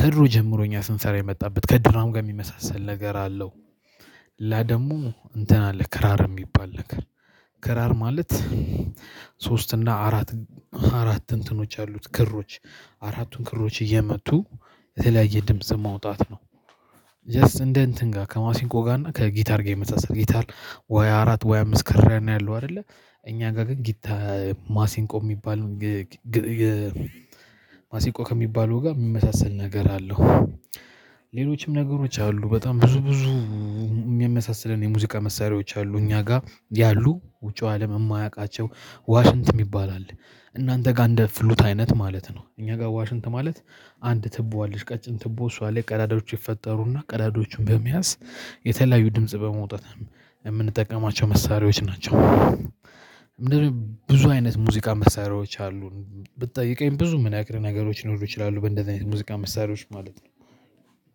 ከድሮ ጀምሮ እኛ ስንሰራ የመጣበት ከድራም ጋር የሚመሳሰል ነገር አለው። ሌላ ደግሞ እንትን አለ ክራር የሚባል ነገር። ክራር ማለት ሶስት እና አራት አራት እንትኖች ያሉት ክሮች አራቱን ክሮች እየመቱ የተለያየ ድምጽ መውጣት ነው። ጀስት እንደ እንትን ጋር ከማሲንቆ ጋር እና ከጊታር ጋር ይመሳሰላል ጊታር ወይ አራት ወይ አምስት ክር ነው ያለው አይደለ? እኛ ጋር ግን ጊታ ማሲንቆ የሚባል ማሲቆ ከሚባለው ጋር የሚመሳሰል ነገር አለው። ሌሎችም ነገሮች አሉ በጣም ብዙ ብዙ የሚያሳስለን የሙዚቃ መሳሪያዎች አሉ እኛ ጋር ያሉ ውጪው አለም የማያውቃቸው ዋሽንት የሚባል አለ። እናንተ ጋር እንደ ፍሉት አይነት ማለት ነው እኛ ጋር ዋሽንት ማለት አንድ ትቦ አለሽ ቀጭን ትቦ እሷ ላይ ቀላዳዎች ይፈጠሩና ቀዳዳዎቹን በመያዝ የተለያዩ ድምጽ በማውጣት የምንጠቀማቸው መሳሪያዎች ናቸው። ብዙ አይነት ሙዚቃ መሳሪያዎች አሉን ብትጠይቀኝ ብዙ የምነግርህ ነገሮች ሊኖሩ ይችላሉ በእንደዚህ አይነት ሙዚቃ መሳሪያዎች ማለት ነው።